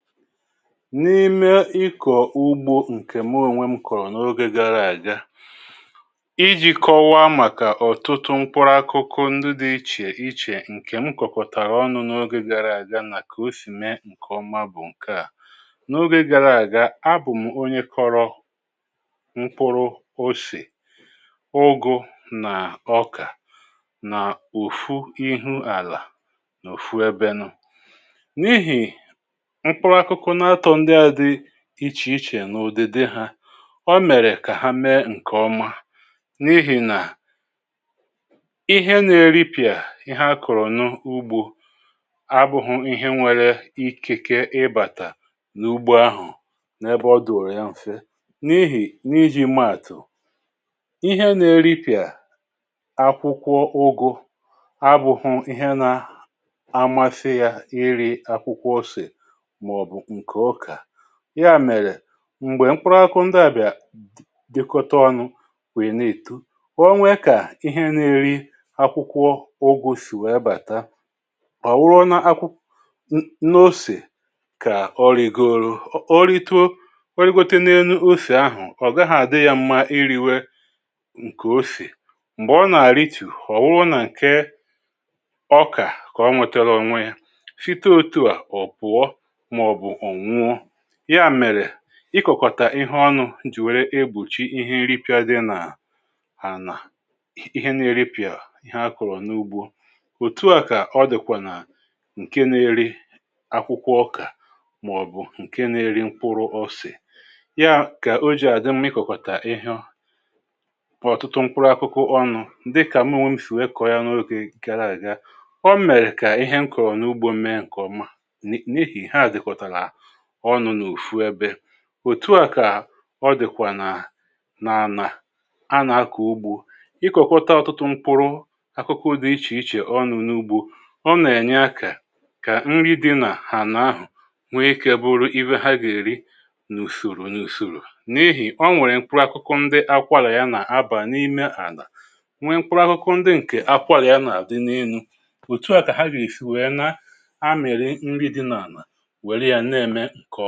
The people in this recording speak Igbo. N’ime ikọ̀ ugbȯ ǹkè mụ ònwe m kọ̀rọ̀ n’ogė gara àga iji̇ kọwaa màkà ọ̀tụtụ mkpụrụ akụkụ ndụ dị̇ ichè ichè ǹkè m kọ̀kòtàrà ọnụ̇ n’ogė gara àga nà kà o sì mee ǹkè ọma bụ̀ ǹke à: n’ogė gara àga, abụ̀m̀ onye kọ̇rọ̇ mkpụrụ osè, ụgụ̇ nà ọkà nà òfu ihu àlà nà òfu ebenụ. N’ihi mkpụrụ akụkụ n’atọ ndị a dị iche ichè n’òdède ha ọ mèrè kà ha mee ǹkè ọma n’ihì nà ihe nà-eripịà ihe akọ̀rọ̀ nụ ugbȯ abụ̇hụ̀ ihe nwere ikike ịbàtà n’ugbo ahụ̀ n’ebe ọ dụ̀rụ̀ ya m̀fe n’ihì n’iji̇ maàtụ̀, ihe nà-eripịà akwụkwọ ụgụ̇ abụ̇hụ̇ ihe nà amasị yȧ iri̇ akwụkwọ osè ma-ọbụ nke ọka ya mèrè m̀gbè mkpụrụ akụ ndi à bịà dị dịkọta ọnụ̇ wèe na-èto, onwe kà ihe na-eri akwụkwọ ụgụ sì wee bàta ọ̀wụrụ na akwụ n’osè kà ọrịgoro ọ ritoo origote n’enu osè ahụ̀ ọ̀ gaghị̇ àdị ya mma iri̇we ǹkè osè m̀gbè ọ nà-àrìtù ọ̀ wụrụ nà ǹke ọkà kà o nwètèrè onwe yȧ. Site otu a ọpụọ ma-ọbụ ọ nwụọ. Ya mere ị kọkọ̀tàr ihe ọnụ̇ jì wère egbochi ihe nripị̇a dị nà anà ihe na-eri pìà ihe akụ̀rụ̀ n’ugbo. Otu à kà ọ dị̀kwà nà ǹke na-eri akwụkwọ ọkà mà ọ̀bụ̀ ǹke na-eri mkpụrụ osè. Ya kà o jì àdị mma ị kọ̀kọ̀tà ịhị ọ bụ ọ̀tụtụ mkpụrụ akụkụ ọnụ̇ dịkà mụ onwe m sì wee kọ̀ọ ya n’ogè gara aga. O mèrè kà ihe nkọ̀rọ̀ n’ugbȯ mee ǹkèọma n’ihi ha dịktara ọnu̇ n’ofu̇ ebe. Otù a kà ọ dị̀kwà nà n’anà a nà-akọ̀ ugbȯ. ḷkọ̀kọta ọtụtụ mkpụrụ akụkụ dị ichè ichè ọnu̇ n’ugbȯ, ọ nà-ènye akȧ kà nri di nà hàna ahụ̀ nwee ikė bụrụ ihe ha gà-èri nùsòrò nùsòrò n’ihì o nwèrè ǹkpụrụ akụkụ ndị akwȧrȧ yȧ nà-abà n’ime àlà nwee ǹkpụrụ akụkụ ndị ǹkè akwȧrȧ yȧ nà-àdị n’elu. Otu a ka ha ga-esi wee na amịrị nri dị n’ala were ya n’eme ǹkè ọ̀